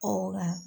Ɔ